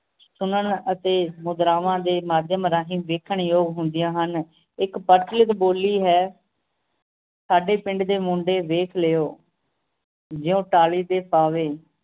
ਸੁਣਨ ਅਤੇ ਮੁਦਰਾਵਾਂ ਦੇ ਮਾਧਿਅਮ ਰਾਹੀਂ ਵੇਖਣ ਯੋਗ ਹੁੰਦੀਆਂ ਹਨ ਇੱਕ ਪ੍ਰਚਲਿਤ ਬੋਲੀ ਹੈ ਸਾਡੇ ਪਿੰਡ ਦੇ ਮੁੰਡੇ ਵੇਖ ਲੇਓ ਜਯੋਂ ਤਾਲੀ ਤੇ ਪਾਵੇ